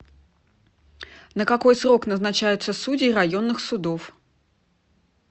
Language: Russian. на какой срок назначаются судьи районных судов